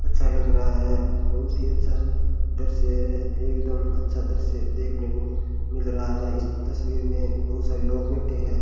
अच्छा लग रहा है बहुत ही अच्छा दृश्य है एकदम अच्छा दृश्य देखने को मिल रहा है इस तस्वीर में बहुत सारे लोग बैठे है।